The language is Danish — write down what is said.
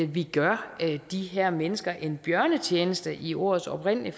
vi gør de her mennesker en bjørnetjeneste i ordets oprindelige